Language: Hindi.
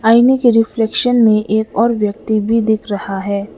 आईने के रिफ्लेक्शन में और एक व्यक्ति भी दिख रहा है।